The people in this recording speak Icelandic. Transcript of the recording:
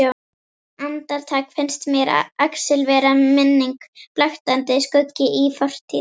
Andartak finnst mér Axel vera minning, blaktandi skuggi í fortíð.